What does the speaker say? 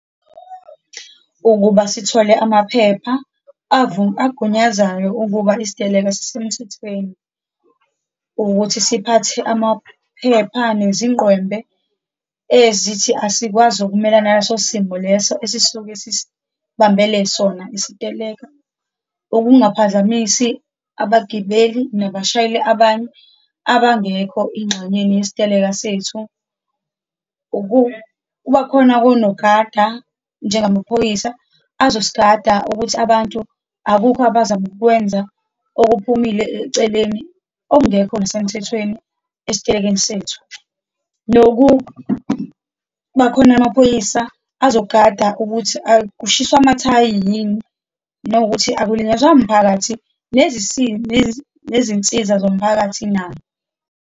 Ukuba sithole amaphepha agunyazayo ukuba isiteleka sisemthethweni, ukuthi siphathe amaphepha, nezingqwembe ezithi asikwazi ukumelana naleso simo leso esisuke sisibambele sona isiteleka, ukungaphazamisi abagibeli nabashayeli abanye abangekho engxenyeni yesiteleka sethu, ukuba khona konogada, njengamaphoyisa azosigada ukuthi abantu akukho abazama ukukwenza okuphumile eceleni, okungekho nasemithethweni esitelekeni sethu, nokubakhona amaphoyisa azogada ukuthi akushiswo mathayi yini, nokuthi akulinyazwa mphakathi, nezinsiza zomphakathi na.